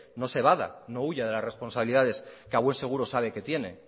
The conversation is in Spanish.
evada no huya de las responsabilidades que a buen seguro sabe que tiene